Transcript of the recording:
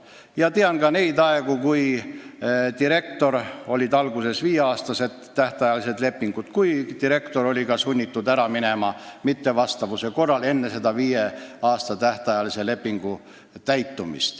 Ma tean ka neid aegu, kui kehtisid viieaastased lepingud, aga direktor oli vahel sunnitud ametist enne tähtaega ära minema, kui ta töö nõuetele ei vastanud.